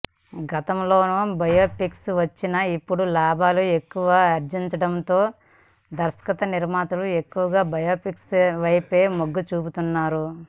గతంలోనూ బయోపిక్స్ వచ్చినా ఇప్పుడు లాభాలు ఎక్కువ ఆర్జిస్తుండడంతో దర్శకనిర్మాతలు ఎక్కువగా బయోపిక్స్ వైపే మొగ్గుచూపుతున్నారు